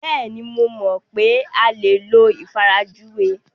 Bẹ́ẹ̀ni, mo mọ̀ pé a lè lo ìfarajúwe.